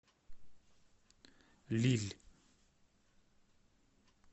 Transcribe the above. лилль